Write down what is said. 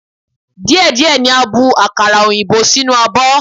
Díẹ̀ díẹ̀ ni a bu akara òyìnbó sínú abọ́.